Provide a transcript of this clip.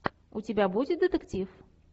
у тебя будет детектив